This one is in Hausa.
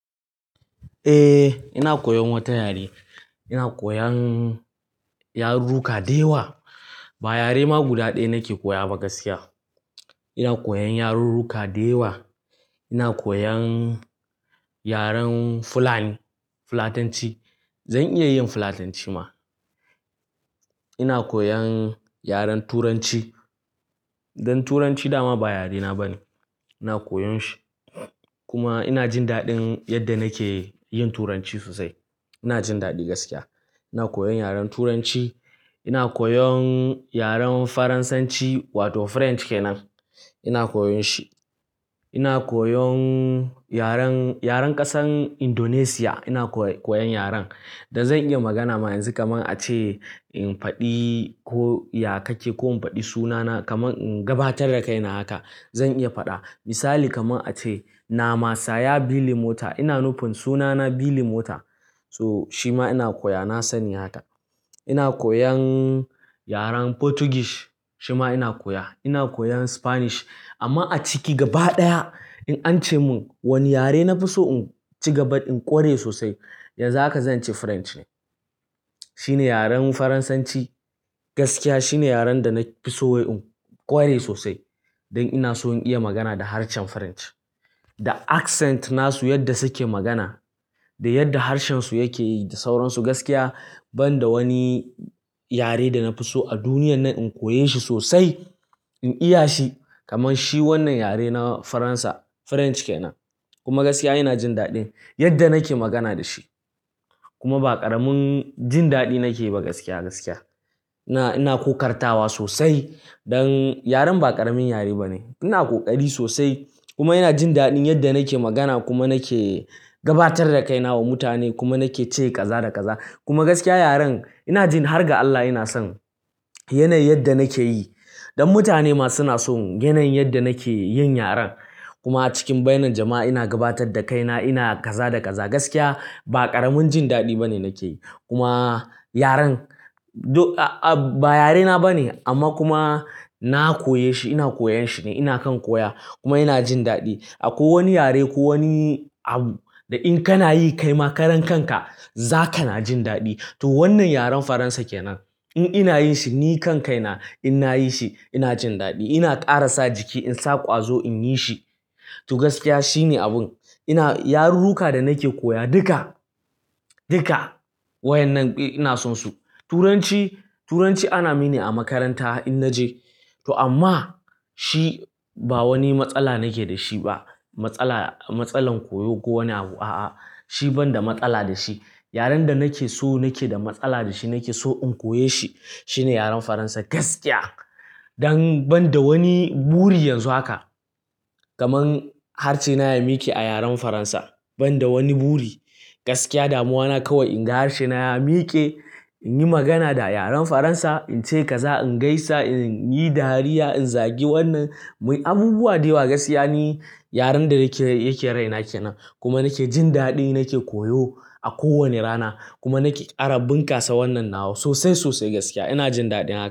Eh, ina koyan wata yare. Ina koyan yarurruka da yawa. Ba yare ma guda ɗaya nake koya ba gaskiya. Ina koyan yarurruka da yawa. Ina koyan yaren Fulani, Fulatanci. Zan iya yin Fulatanci ma. Ina koyan yaren Turanci. Dan Turanci dama ba yarena ba ne. Ina koyan shi kuma ina jin daɗin yadda nake yin Turanci sosai. Ina jin daɗi gaskiya. Ina koyan yaren Turanci. Ina koyan yaren Faransanci wato French kenan. Ina koyan shi. Ina koyon yaren, yaren ƙasar Indonesia. Ina koyan yaren da zan iya magana ma yanzu kamar a ce in faɗi ko ya kake ko in faɗi sunana kamar in gabatar da kaina haka zan iya faɗa. Misali kamar a ce “Nama saya beli motor”, ina nufin sunana beli motor. To shi ma ina koya, na sani haka. Ina koyan yaren Portuguese, shi ma ina koya. Ina koyan Spanish amma a ciki gaba ɗaya in an ce min wani yare na fi so in ci gaba in ƙware sosai, yanzu haka zan ce French ne. Shine yaren Faransanci gaskiya shine yaren da na fi so wai in ƙware sosai don ina so in iya magana da harshen French da accent nasu yadda suke magana da yadda harshen su yake yi da sauran su gaskiya. Ban da wani yare da na fi so a duniya nan in koyi shi sosai in iya shi kamar shi wannan yare na Faransa, French kenan. Kuma gaskiya ina jin daɗin yadda nake magana da shi kuma ba ƙaramin jin daɗi nake ba gaskiya, gaskiya. Ina, ina ƙoƙartawa sosai don yaren ba ƙaramin yare ba ne. Ina ƙoƙari sosai kuma ina jin daɗin yadda nake magana kuma nake gabatar da kaina wa mutane kuma nake ce ƙaza da ƙaza. Kuma gaskiya yaren ina jin har ga Allah ina son yanayin yadda nake yi don mutane ma suna son yanayin yadda nake yin yaren. Kuma a cikin bainan jama'a ina gabatar da kaina, ina ƙaza da ƙaza gaskiya ba ƙaramin jin daɗi bane nake yi. Kuma yaren ba yarena bane amma kuma na koye shi, ina koyan shi ne, ina kan koya kuma ina jin daɗi. A ko wani yare ko wani abu da in kana yi kaima karan kanka zaka na jin daɗi. To wannan yaren Faransa kenan in ina yin shi ni kan kaina in nayi shi ina jin daɗi, ina ƙarasa jiki, insa ƙwazo in yi shi. To gaskiya shine abun. Ina-- yarurruka da nake koya duka, duka wa yan nan ina son su. Turanci, Turanci ana mini a makaranta in naje to amma shi ba wani matsala nake da shi ba. Matsala, matsalar koyo ko wani abu a'a, shi ban da matsala da shi. Yaren da nake so nake da matsala da shi nake so in koye shi shine yaren Faransa gaskiya. Don ban da wani buri yanzu haka kamar harshe na ya miƙe a yaren Faransa ban da wani buri gaskiya damuwa na kawai in ga harshe na ya miƙe, in yi magana da yaren Faransa, in ce ƙaza, in gaisa, in yi dariya, in zagi wannan, muyi abubuwa da yawa gaskiya ne yaren da yake, yake raina kenan kuma nake jin daɗin nake koyo a kowane rana kuma nake ƙara bunƙasa wannan nawa sosai sosai gaskiya ina jin daɗin haka.